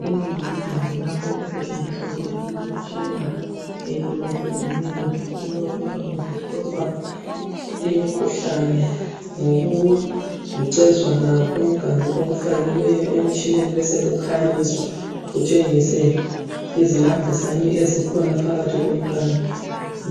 Le yindawo lapho okusetshenziswa khona imitshina ehlukahlukeneyo yokuba kuhlolwa imikhuhlane ngokulucezwana komganu okufakiweyo emtshineni besekukhanyiswa kutshengise izinambuzane ezikhona phakathi komganu.